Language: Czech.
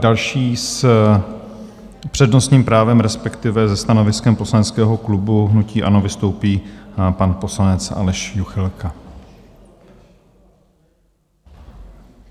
Další s přednostním právem, respektive se stanoviskem Poslaneckého klubu hnutí ANO vystoupí pan poslanec Aleš Juchelka.